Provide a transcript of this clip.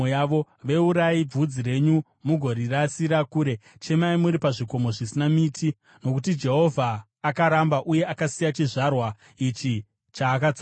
Veurai bvudzi renyu mugorirasira kure; chemai muri pazvikomo zvisina miti, nokuti Jehovha akaramba uye akasiya chizvarwa ichi chaakatsamwira.